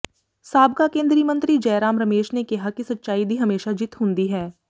ਸਾਬਕਾ ਕੇਂਦਰੀ ਮੰਤਰੀ ਜੈਰਾਮ ਰਮੇਸ਼ ਨੇ ਕਿਹਾ ਕਿ ਸੱਚਾਈ ਦੀ ਹਮੇਸ਼ਾ ਜਿੱਤ ਹੁੰਦੀ ਹੈ